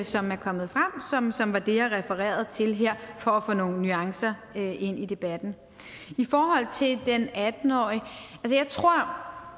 som er kommet frem som var det jeg refererede til her for at få nogle nuancer ind i debatten i forhold til den atten årige jeg tror